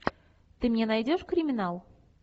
ты мне найдешь криминал